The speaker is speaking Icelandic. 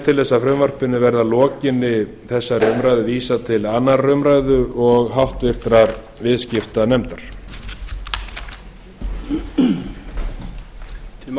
til þess að frumvarpinu verði að lokinni þessari umræðu vísað til annarrar umræðu og háttvirtur viðskiptanefndar að björgvin frá byrjun og til enda